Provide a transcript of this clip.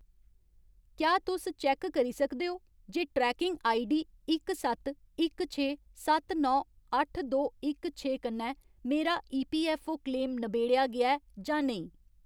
क्या तुस चैक्क करी सकदे ओ जे ट्रैकिंग आईडी इक सत्त इक छे सत्त नौ अट्ठ दो इक छे कन्नै मेरा ईपीऐफ्फओ क्लेम नबेड़आ गेआ ऐ जां नेईं ?